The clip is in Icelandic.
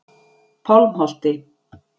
Pálmholti